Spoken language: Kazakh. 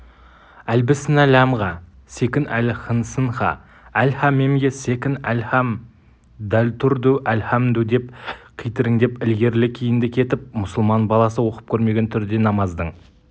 әлбісінә ләмге секін-әл хнсынха-әлха мемге секін-әлхам далтұрдү-әлхамдү деп китіріңдеп ілгерілі-кейінді кетіп мұсылман баласы оқып көрмеген түрде намаздың